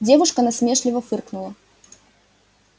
девушка насмешливо фыркнула